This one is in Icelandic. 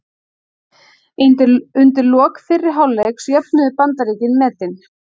Undir lok fyrri hálfleiks jöfnuðu Bandaríkin metin.